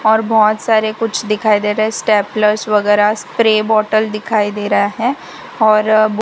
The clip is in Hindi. और बहोत सारे कुछ दिखाई दे रहा है स्टैपलर्स वगैरा स्प्रे बॉटल दिखाई दे रहा है और बु --